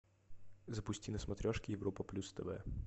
запусти на смотрешке европа плюс тв